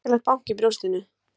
Hrikalegt bank í brjóstinu.